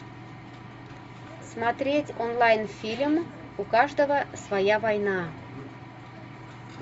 смотреть онлайн фильм у каждого своя война